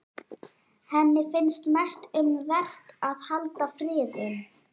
Henni finnst mest um vert að halda friðinn.